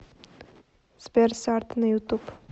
сбер сард на ютуб